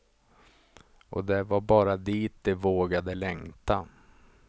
Och det var bara dit de vågade längta.